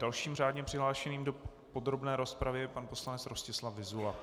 Dalším řádně přihlášeným do podrobné rozpravy je pan poslanec Rostislav Vyzula.